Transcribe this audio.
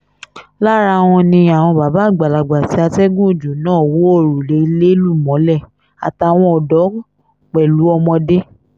lára wọn ni àwọn bàbá àgbàlagbà tí atẹ́gùn ọjọ́ náà wọ òrùlé ilé lù mọ́lẹ̀ àtàwọn ọ̀dọ́ pẹ̀lú ọmọdé